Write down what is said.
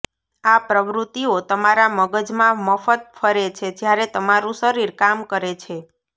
આ પ્રવૃત્તિઓ તમારા મગજમાં મફત ફરે છે જ્યારે તમારું શરીર કામ કરે છે